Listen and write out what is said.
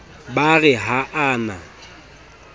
ba re ha a na